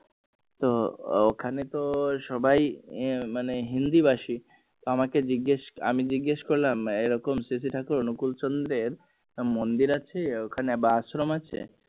তো ওখানে তো সবাই মানে হিন্দি ভাষী আমাকে জিজ্ঞাসা আমি জিজাস করলাম এরকম সিসি থাকুর অনুকূল চন্দ্রের মন্দির আছে ওখানে বা আশ্রম আছে